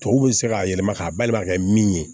Tubabuw bɛ se k'a yɛlɛma k'a balima ka kɛ min ye